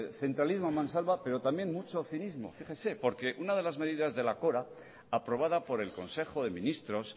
centralismo a mansalva pero también mucho cinismo fíjense porque algunas medidas de la cora aprobada por el consejo de ministros